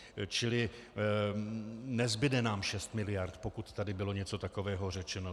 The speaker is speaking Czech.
Čili nezbude nám šest miliard, pokud tady bylo něco takového řečeno.